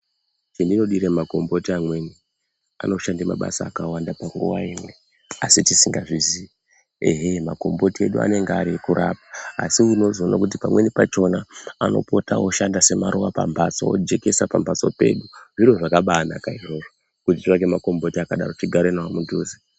Chendinodira makomboti amweni, anoshande mabasa akawanda panguva imwe asi tisingazvizii ehe makomboti edu anenge ari ekurapa. Asi unozoona kuti pamweni pachona anopota oshanda semaruva pambatso ojekesa pamhatso pedu. Zviro zvakabaanaka izvozvo kuti titsvake makomboti akadaro tigare nawo padhuze.